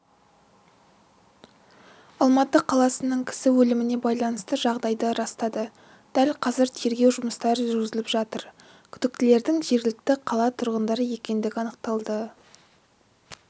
алматы қаласының кісі өліміне байланысты жағдайды растады дәл қазір тергеу жұмыстары жүргізіліп жатыр күдіктілердің жергілікті қала тұрғындары екендігі анықталды